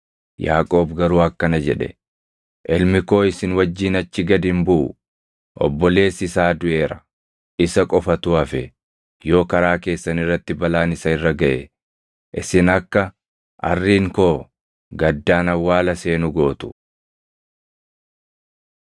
Yaaqoob garuu akkana jedhe; “Ilmi koo isin wajjin achi gad hin buʼu; obboleessi isaa duʼeera; isa qofatu hafe. Yoo karaa keessan irratti balaan isa irra gaʼe, isin akka arriin koo gaddaan awwaala seenu gootu.”